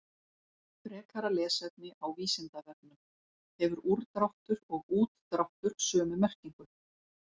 Frekara lesefni á Vísindavefnum: Hefur úrdráttur og útdráttur sömu merkingu?